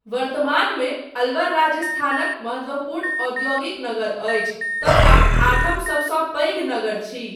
वर्तमानमे अलवर राजस्थानक महत्त्वपूर्ण औद्योगिक नगर अछि तथा आठम सबसँपैघ नगर छी।